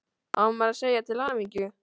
Á maður að segja til hamingju?